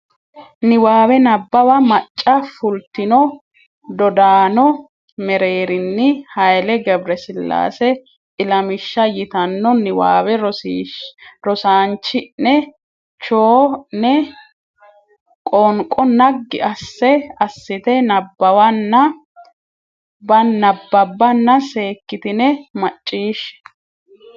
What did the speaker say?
Niwaawe Nabbawa Macca fultino dodaano mereeninni Hayle G sillaase Ilamishsha yitanno niwaawe rosiisaanchi ne cho ne qoonqo naggi asse assite nabbawanna bbanna seekkitine macciishshe.